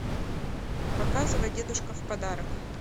показывай дедушка в подарок